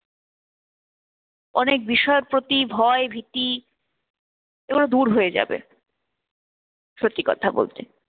অনেক বিষয়ের প্রতি ভয় ভীতি এগুলো দূর হয়ে যাবে সত্যি কথা বলতে।